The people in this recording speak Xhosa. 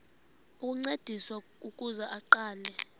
ukuncediswa ukuze aqale